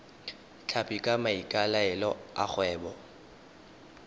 tlhapi ka maikaelelo a kgwebo